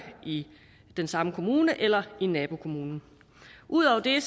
i den samme kommune eller i nabokommunen ud over det